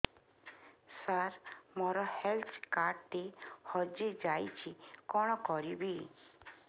ସାର ମୋର health card ଟି ହଜି ଯାଇଛି କଣ କରିବି